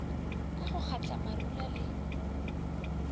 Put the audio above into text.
ka go kgatla marula le